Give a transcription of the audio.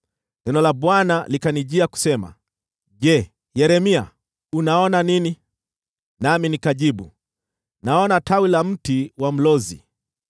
Neno la Bwana likanijia kusema, “Je, Yeremia unaona nini?” Nami nikajibu, “Naona tawi la mti wa mlozi.”